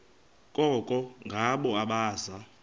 koko ngabo abaza